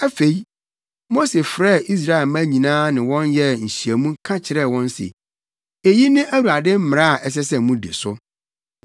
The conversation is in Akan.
Afei, Mose frɛɛ Israelmma nyinaa ne wɔn yɛɛ nhyiamu ka kyerɛɛ wɔn se, “Eyi ne Awurade mmara a ɛsɛ sɛ mudi so.